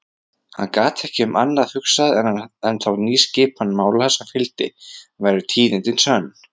Hann gat ekki um annað hugsað en þá nýskipan mála sem fylgdi, væru tíðindin sönn.